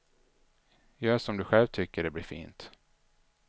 Gör som du sjäv tycker det blir fint.